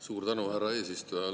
Suur tänu, härra eesistuja!